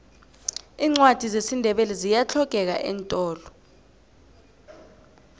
iincwadi zesindebele ziyahlogeka eentolo